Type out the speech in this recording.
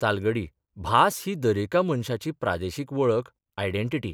तालगडी भास ही दरेका मनशाची प्रादेशीक वळख आयडेंटिटी.